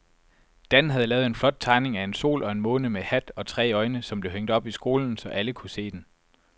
Dan havde lavet en flot tegning af en sol og en måne med hat og tre øjne, som blev hængt op i skolen, så alle kunne se den.